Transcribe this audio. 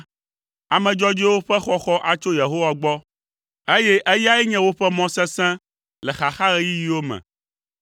Ame dzɔdzɔewo ƒe xɔxɔ atso Yehowa gbɔ, eye eyae nye woƒe mɔ sesẽ le xaxaɣeyiɣiwo me.